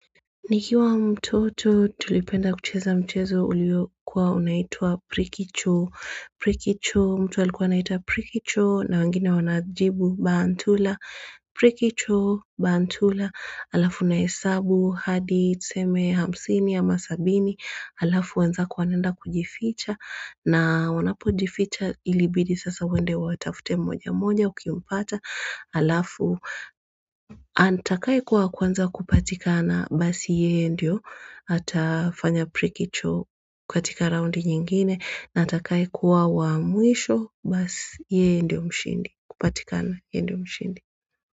Nikiwa mtoto tulipenda kucheza mchezo uliyo kuwa unaitua prikicho, prikicho mtu alikuwa unaita prikicho na wangine wanajibu bantula, prikicho bantula alafu unahesabu hadi tuseme hamsini ama sabini alafu wenzako kuwanenda kujificha na wanapo jificha ilibidi sasa wende watafute mmoja mmoja ukiumpata alafu Atakai kuwa kwanza kupatikana basi yeye ndio Atafanya prikicho kwa tika raundi nyingine Atakai kuwa wa muisho basi yeye ndio mshindi kupatikana yeye ndio mshindi.